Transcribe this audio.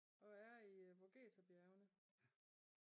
Og er i Vogeserbjergene